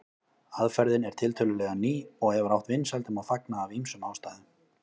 Aðferðin er tiltölulega ný og hefur átt vinsældum að fagna af ýmsum ástæðum.